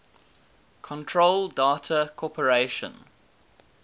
control data corporation